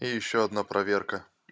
и ещё одна проверка